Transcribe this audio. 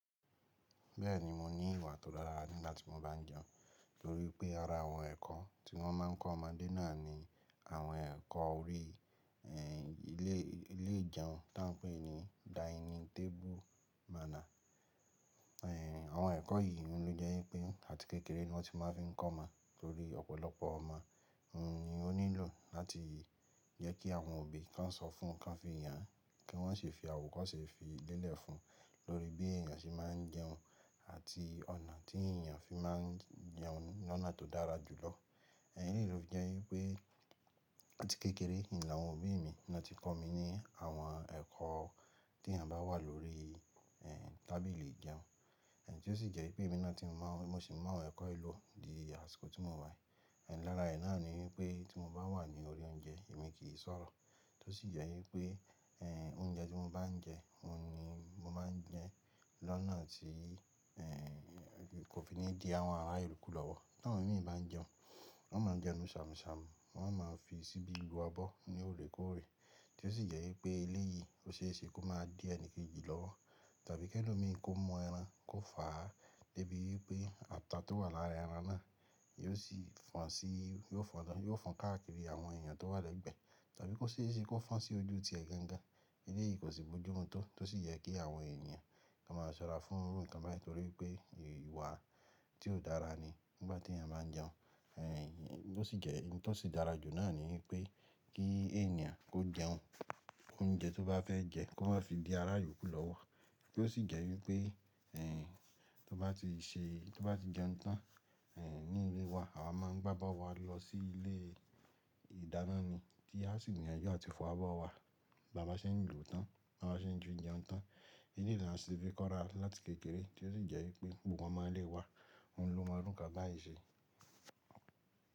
Bẹ́ẹ̀ni mo ní ìwà tó dára nígbà tí mo bá ń jẹun, torí pé ara àwọn ẹ̀kọ́ tí wọ́n máa ń kọ́ ọmọdé náà ni àwọn ẹ̀kọ́ orí, ehn, ilé, ilé ìjẹun tí wọ́n ń pè ní dining table manner. Ehn, àwọn ẹ̀kọ́ yìí ló jẹ́ wípé àti kékeré ni wọ́n ti máa ń fi ń kọ́ ọmọ torí ọ̀pọ̀lọpọ̀ ọmọ, ehn, ni ó nílò láti jẹ́ kí àwọn òbí kan sọ fún, kan fi yàn kí wọ́n sì fi àwòrán kan sì fi lélẹ̀ fún, lórí bí èèyàn ṣe máa ń jẹun àti ọ̀nà tí èèyàn fi máa ń jẹun lọ́nà tó dára jùlọ. Ẹ̀yii ló fi jẹ́ wípé àti kékeré ni àwọn òbí mi ni wọ́n ti kọ́ mi ní àwọn ẹ̀kọ́ tí èèyàn bá wà lórí, ehn, tábìlì ìjẹun. Ehn, tí ó sì jẹ́ wípé èmi náà ti mo máa ń, mo sì mú àwọn ẹ̀kọ́ yìí lò di àsìkò tí mo wà. Ehn, lára ẹ̀ náà ni wípé tí mo bá wà ní orí oúnjẹ èmi kì í sọ̀rọ̀. Tí ó sì jẹ́ wípé, ehn, oúnjẹ tí mo bá ń jẹ, òun ni mo máa ń jẹ lọ́nà tí, ehn, kò fi ní di àwọn ará yo kú lọ́wọ́. Tí àwọn òbí mi bá ń jẹun, wọ́n máa ń jẹun sàmùsàmù, wọ́n máa ń fi síbi lu abọ́ ní òré kóòré. Tí ó sì jẹ́ wípé ilé yìí ó ṣe é ṣe kó má di ẹni kejì lọ́wọ́. Tàbí kí ẹni mìíràn kó mọ ẹran kó fà á, débi wípé ata tó wà lára ẹran náà yóò sì fọn sí, yóò fọn tán, yóò fọn káàkiri àwọn èèyàn tó wà lẹ́gbẹ̀ẹ́. Tàbí kó ṣe é ṣe kó fọn sí ojú ti ẹ gangan. Ilé yìí kò sì bójú mú tó, tí ó sì yẹ kí àwọn èèyàn kan máa sọ̀rọ̀ fún, kan bá, torí pé ìwà tí ó dára ni nígbà tí èèyàn bá ń jẹun. Ehn, bó sì jẹ́, ohun tí ó sì dára jù náà ni wípé kí èèyàn kó jẹun, oúnjẹ tí ó bá fẹ́ jẹ kó má fi di ará ìlú kú lọ́wọ́. Tí ó sì jẹ́ wípé, ehn, tí ó bá ti ṣe, tí ó bá ti jẹun tán, ehn, ní ilé wa àwa máa ń gbá bó wa lọ sí ilé ìdáná ni tí a sì yanjú àti fọ abọ́ wa. Bàbá ṣe ń ló tán, bàbá ṣe ń jẹun tán. Eyi ni àwọn tí wọ́n fi kọ́ wa láti kékeré tí ó sì jẹ́ wípé gbogbo ọmọ ilé wa òun ló máa rún kábàáyì ṣe.